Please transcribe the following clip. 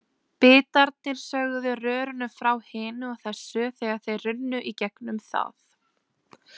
Bitarnir sögðu rörinu frá hinu og þessu, þegar þeir runnu í gegnum það.